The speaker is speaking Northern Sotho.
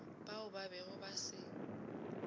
bao ba bego ba se